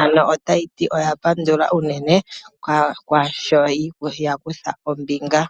Ano otaya ti oya pandula unene kwaasho ya kutha ombinga.